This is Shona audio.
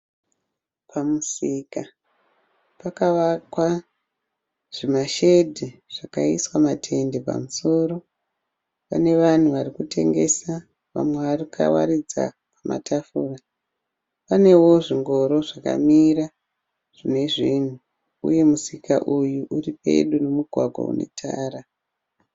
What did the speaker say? Pamusika pakavakwa zvimashedhi zvakaiswa matende pamusoro. Pane vanhu vari kutengesa vamwe vakawaridza pamatafuraP panewo zvingoro zvakamira zvine zvinhu, vamwe vakawaridza matafura uyewo musika uyu uri padyo nemugwagwa wetara.